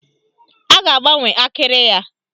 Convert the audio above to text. A ga-agbanwe akịrị ya.